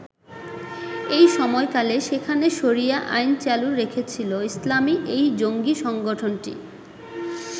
এই সময়কালে সেখানে শরিয়া আইন চালু রেখেছিল ইসলামি এই জঙ্গি সংগঠনটি।